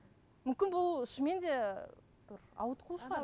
мүмкін бұл шынымен де бір ауытқу шығар